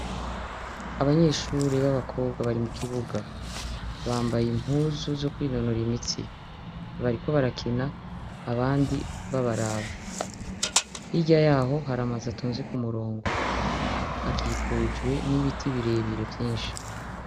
Abanyeshure babakobwa bambaye impuzu zokwinonora imitsi bariko barakina abandi babaraba hirya yaho hari amazu atonze kumurongo. akikujwe nibiti birebire vyinshi.